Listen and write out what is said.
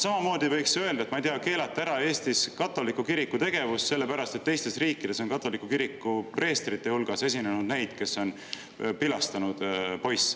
Samamoodi võiks öelda, et, ma ei tea, Eestis ära keelata katoliku kiriku tegevus, sellepärast et teistes riikides on katoliku kiriku preestrite hulgas olnud neid, kes on pilastanud poisse, eks.